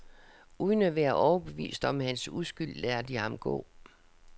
Uden at være overbevist om hans uskyld lader de ham gå.